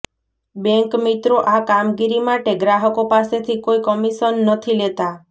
બેન્કમિત્રો આ કામગીરી માટે ગ્રાહકો પાસેથી કોઇ કમિશન નથી લેતા